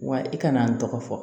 Wa i kana n tɔgɔ fɔ